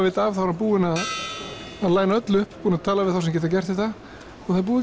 veit af er hann búinn að öllu upp tala við þá sem geta gert þetta og það er búið